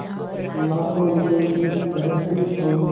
लाखों रुपये की तहसील और